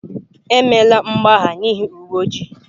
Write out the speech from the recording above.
Emela mgbagha n'ihi uwe ojii!